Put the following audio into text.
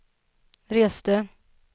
reste